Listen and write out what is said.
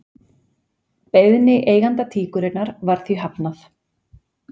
Beiðni eiganda tíkurinnar var því hafnað